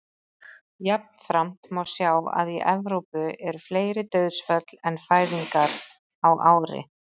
jafnframt má sjá að í evrópu eru fleiri dauðsföll en fæðingar á ári